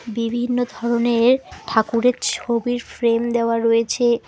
বিভিন্ন ধরনের ঠাকুরের ছবির ফ্রেম দেওয়া রয়েছে।